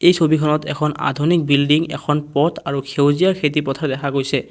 এই ছবিখনত এখন আধুনিক বিল্ডিং এখন পথ আৰু সেউজীয়া খেতি পথাৰ দেখা গৈছে।